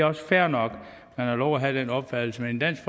også fair nok man har lov at have den opfattelse men i dansk